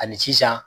Ani sisan